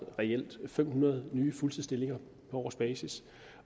fem hundrede nye fuldtidsstillinger på årsbasis